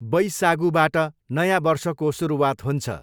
बैसागूबाट नयाँ वर्षको सुरुवात हुन्छ।